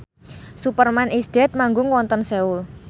Superman is Dead manggung wonten Seoul